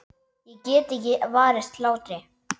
Ég get ekki varist hlátri.